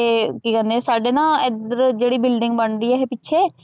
ਕੀ ਕਹੰਦੇ ਆ ਸਾਡੇ ਨਾ ਏਧਰ ਜੇੜੀ ਬਿਲਡਿੰਗ ਬਣ ਰਹੀ ਆ ਇਹ ਪਿਛੇ।